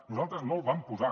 nosaltres no el vam posar